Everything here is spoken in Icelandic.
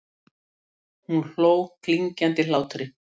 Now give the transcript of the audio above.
Og hún hló klingjandi hlátri.